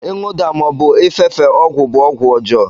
ịṅụda ma ọbụ ịfefe ọgwụ bụ ọgwụ ọjọọ.